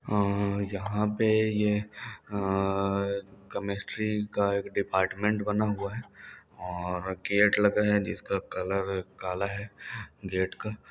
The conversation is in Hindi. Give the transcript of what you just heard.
अ यहाँ पे यह अ केमिस्ट्री का एक डिपार्टमेंट बना हुआ है और गेट लगा है जिसका कलर काला है गेट का।